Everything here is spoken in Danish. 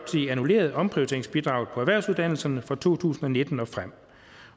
annulleret omprioriteringsbidraget på erhvervsuddannelserne fra to tusind og nitten og frem